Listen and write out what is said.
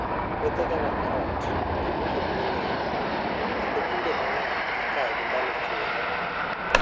Puothe kaka karot dongo e bwo lowo kendo kinde mang'eny ikayo e ndalo chwiri.